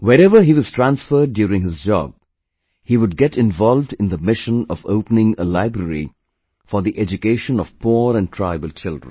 Wherever he was transferred during his job, he would get involved in the mission of opening a library for the education of poor and tribal children